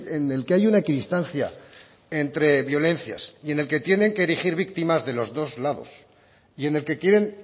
en el que hay una equidistancia entre violencias y en el que tienen que erigir víctimas de los dos lados y en el que quieren